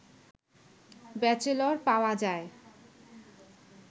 bachelor পাওয়া যায়